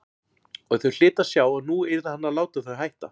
Og þau hlytu að sjá að nú yrði hann að láta þau hætta.